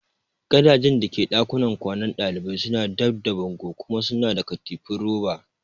Gadajen da ke dakunan kwanan dalibai suna dab da bango kuma suna da katifu roba.